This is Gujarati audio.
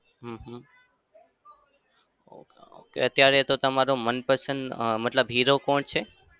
હમ હમ અત્યારે તો તમારો મનપસંદ અમ મતલબ hero કોણ છે?